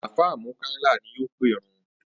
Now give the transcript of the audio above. Àfáà Múkáílà ni yóò pèrun